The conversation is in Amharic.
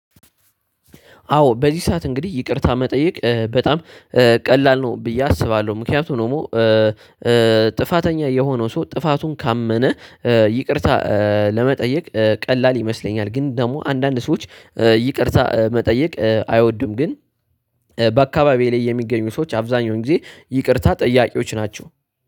አዎ በዚህ ሰዓት እንግዲህ ይቅርታ መጠየቅ በጣም ቀላል ነው ብዬ አስባለሁ ምክንያቱም ደግሞ ጥፋተኛ የሆነው ሰው ጥፋቱን ካመነ ይቅርታ ለመጠየቅ ቀላል ይመስለኛል። ግን ደግሞ አንዳንድ ሰዎች ይቅርታ መጠየቅ አይወድም ግን። በአካባቢዬ ላይ የሚገኙ ሰዎች አብዛኛውን ጊዜ ይቅርታ ጠያቂዎች ናቸው